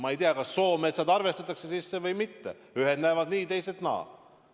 Ma ei tea, kas soometsad arvestatakse sisse või mitte – ühed näevad nii, teised naa.